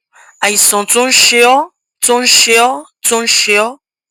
àìsàn tó ń ṣe ọ tó ń ṣe ọ tó ń ṣe ọ